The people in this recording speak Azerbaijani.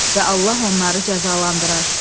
Və Allah onları cəzalandırar.